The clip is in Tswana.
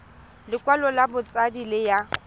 lekwalo la botshabi le ya